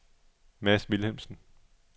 Mads Vilhelmsen